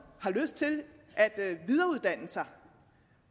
har lyst til at videreuddanne sig